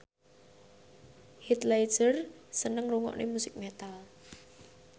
Heath Ledger seneng ngrungokne musik metal